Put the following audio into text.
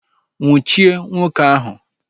Nnwuchie nwoke ahụ!